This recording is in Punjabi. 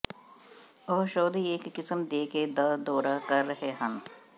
ਉਹ ਸ਼ੋਅ ਦੀ ਇੱਕ ਕਿਸਮ ਦੇ ਕੇ ਦਾ ਦੌਰਾ ਕਰ ਰਹੇ ਹਨ